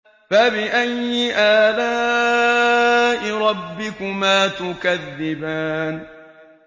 فَبِأَيِّ آلَاءِ رَبِّكُمَا تُكَذِّبَانِ